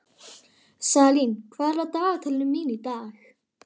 Salín, hvað er á dagatalinu mínu í dag?